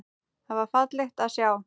Það var fallegt að sjá.